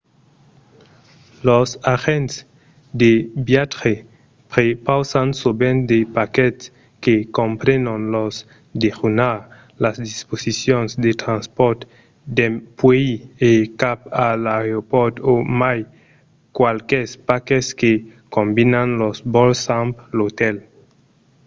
los agents de viatge prepausan sovent de paquets que comprenon lo dejunar las disposicions de transpòrt dempuèi e cap a l’aeropòrt o mai qualques paquets que combinan los vòls amb l’otèl